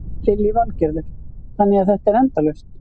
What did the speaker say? Lillý Valgerður: Þannig að þetta er endalaust?